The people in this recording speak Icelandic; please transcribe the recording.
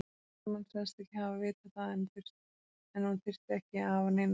Hermann sagðist ekki hafa vitað það en hún þyrfti ekki að hafa neinar áhyggjur.